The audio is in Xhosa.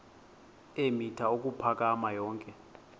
eemitha ukuphakama yonke